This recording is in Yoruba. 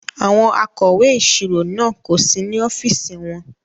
Àwọn akọ̀wé ìṣirò náà kò sí ní ọ́fíìsì wọn.